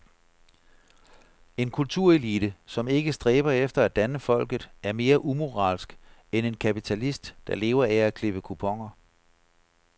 En kulturelite, som ikke stræber efter at danne folket, er mere umoralsk end en kapitalist, der lever af at klippe kuponer.